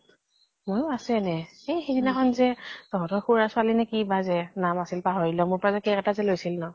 ময়ো আছো এনে। এই সিদিনাখন যে তহঁতৰ খুঢ়াৰ ছোৱালী নে কিবা যে নাম আছল পাহৰিলো। মোৰ পৰা যে cake এটা যে লৈছিল ন